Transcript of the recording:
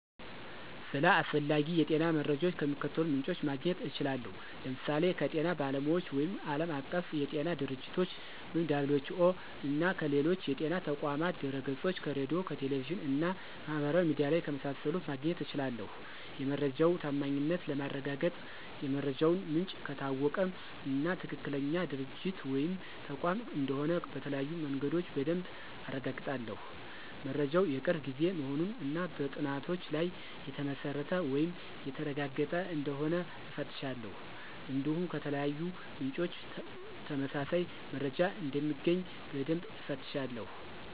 ስለ አስፈላጊ የጤና መረጃዎች ከሚከተሉት ምንጮች ማግኘት እችላለሁ፦ ለምሳሌ ከጤና ባለሙያዎች ወይም ዓለም አቀፍ የጤና ድርጅቶች - (WHO)፣ እና ከሌሎች የጤና ተቋማት ድህረገጾች፣ ከሬዲዮ፣ ከቴሌቪዥን እና ማህበራዊ ሚዲያ ላይ ከመሳሰሉት ማግኘት እችላለሁ። የመረጃው ታማኝነት ለማረጋገጥ የመረጃው ምንጭ ከታወቀ እና ትክክለኛ ድርጅት ወይም ተቋም እንደሆነ በተለያዩ መንገዶች በደንብ አረጋግጣለሁ። መረጃው የቅርብ ጊዜ መሆኑን እና በጥናቶች ላይ የተመሰረተ ወይም የተረጋገጠ እንደሆነ እፈትሻለሁ። እንዲሁም ከተለያዩ ምንጮች ተመሳሳይ መረጃ እንደሚገኝ በደንብ እፈትሻለሁ።